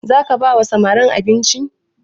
Za ka ba wa samarin abinci?